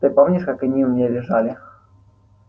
ты помнишь как они у меня лежали